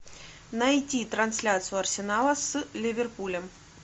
найти трансляцию арсенала с ливерпулем